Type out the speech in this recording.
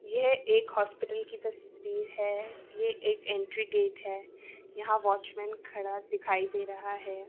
यह एक हॉस्पिटल की तस्वीर है ये एक एंट्री गेट है यहां वॉचमैन खड़ा दिखाई दे रहा है।